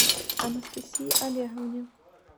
анастасии олеговне